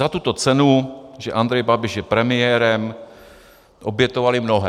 Za tuto cenu, že Andrej Babiš je premiérem, obětovali mnohé.